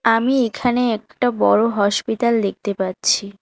আমি এখানে একটা বড় হসপিটাল দেখতে পাচ্ছি।